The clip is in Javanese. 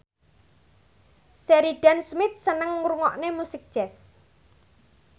Sheridan Smith seneng ngrungokne musik jazz